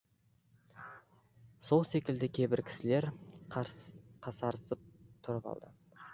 сол секілді кейбір кісілер қасарысып тұрып алды